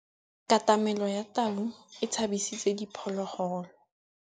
Katamêlô ya tau e tshabisitse diphôlôgôlô.